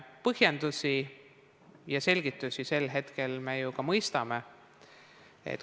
Põhjendusi ja selgitusi, mis olid sel hetkel, me ju ka mõistame.